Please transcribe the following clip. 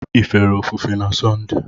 Ị fere ofufe na Sọnde?